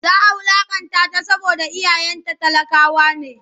Za a wulaƙantata saboda iyayenta talakawa ne.